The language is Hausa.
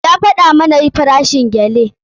Ya gaya mana farashin gele.